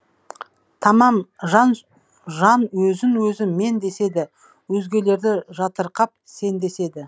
тамам жан жан өзін өзі мен деседі өзгелерді жатырқап сен деседі